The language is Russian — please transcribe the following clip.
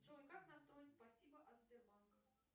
джой как настроить спасибо от сбербанка